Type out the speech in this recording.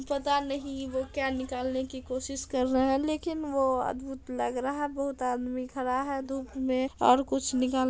पता नहीं वो क्या निकालने की कोशिश कर रहें है लेकिन वो अद्भुत लग रहा है बहुत आदमी खड़ा है धुप में और कुछ निकाल --